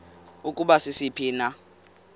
ukuba sisiphi na